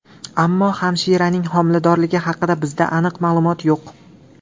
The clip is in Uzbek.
Ammo hamshiraning homiladorligi haqida bizda aniq ma’lumot yo‘q.